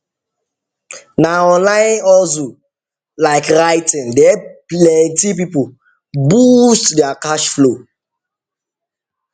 na online hustle like writing dey help plenty people boost their cash flow